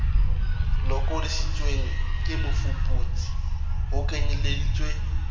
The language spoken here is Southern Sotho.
lokodisitsweng ke mofuputsi ho kenyeleditswe